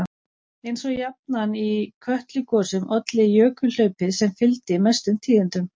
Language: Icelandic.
Eins og jafnan í Kötlugosum olli jökulhlaupið sem fylgdi mestum tíðindum.